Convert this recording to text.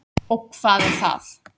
Og hvað er það?